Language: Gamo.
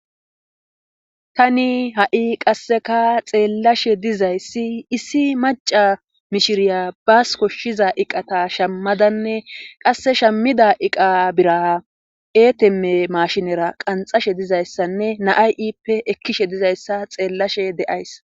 Tani ha'i qasseka xeellashe dizayssi issi maca mishiriya baas koshshiza iqata shammadanne qasse shammida iqa bira eeteme mashinera qanxashe dizayssanne naay ippe ekkishe dizayssa xeellashe de'ays.